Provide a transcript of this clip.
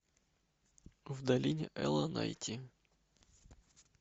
в долине эла найти